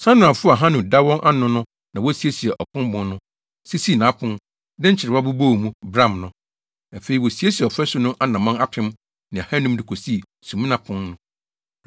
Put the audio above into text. Sanoafo a Hanun da wɔn ano no na wosiesiee Obon Pon no, sisii nʼapon, de nkyerewa bobɔɔ mu, bram no. Afei, wosiesiee ɔfasu no anammɔn apem ne ahannum de kosii Sumina Pon no.